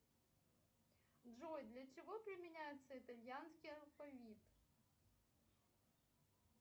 джой для чего применяется итальянский алфавит